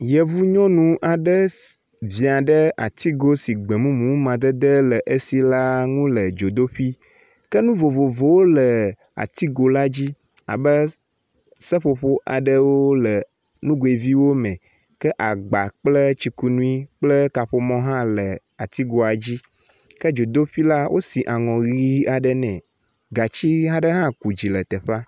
Yevu nyɔnu aɖe ss via ɖe atigo si gbɔmumu madede le enu la nu le dzodoƒe. ke nu vovovowo le atigo la dzi abe seƒoƒo aɖewo le nugoe viwo me ke agba kple tsikunui kple kaƒomɔ hã le atsigoa dzi. ke dzodeƒe la wosi aŋɔ ʋi nɛ. Gatsi ʋi aɖe hã ku dzi le teƒea.